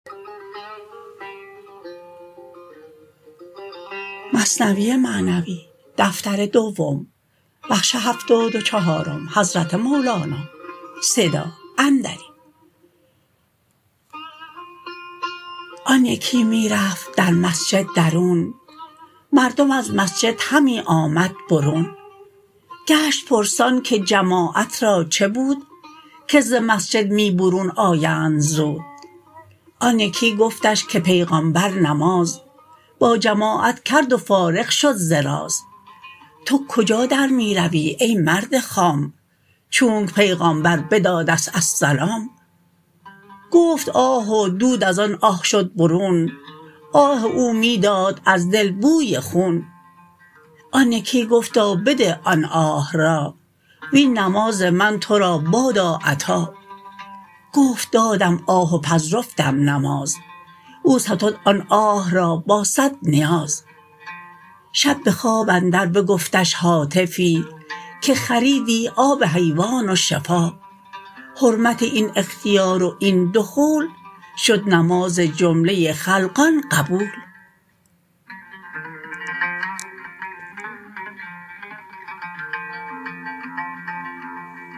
آن یکی می رفت در مسجد درون مردم از مسجد همی آمد برون گشت پرسان که جماعت را چه بود که ز مسجد می برون آیند زود آن یکی گفتش که پیغامبر نماز با جماعت کرد و فارغ شد ز راز تو کجا در می روی ای مرد خام چونک پیغامبر بدادست السلام گفت آه و دود از آن اه شد برون آه او می داد از دل بوی خون آن یکی گفتا بده آن آه را وین نماز من تو را بادا عطا گفت دادم آه و پذرفتم نماز او ستد آن آه را با صد نیاز شب بخواب اندر بگفتش هاتفی که خریدی آب حیوان و شفا حرمت این اختیار و این دخول شد نماز جمله خلقان قبول